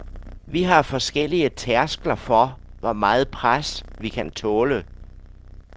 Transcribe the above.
Vi har forskellige tærskler for, hvor meget pres, vi kan tåle.